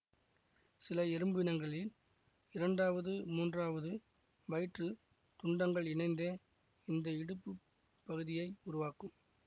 சில எறும்பினங்களில் இரண்டாவது மூன்றாவது வயிற்றுத் துண்டங்கள் இணைந்தே இந்த இடுப்புப் பகுதியை உருவாக்கும்